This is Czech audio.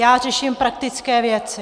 Já řeším praktické věci.